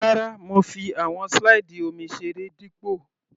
Rárá, mo fi àwọn slide omi seré dípò.